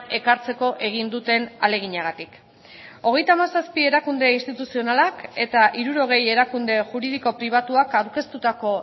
ekartzeko egin duten ahaleginagatik hogeita hamazazpi erakunde instituzionalak eta hirurogei erakunde juridiko pribatuak aurkeztutako